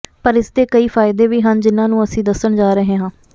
ਪਰ ਇਸ ਦੇ ਕਈ ਫਾਇਦੇ ਵੀ ਹਨ ਜਿਨ੍ਹਾਂ ਨੂੰ ਅਸੀਂ ਦੱਸਣ ਜਾ ਰਹੇ ਹਾਂ